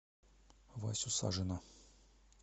васю сажина